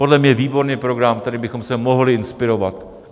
Podle mě výborný program, kterým bychom se mohli inspirovat.